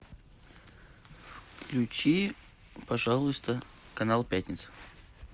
включи пожалуйста канал пятница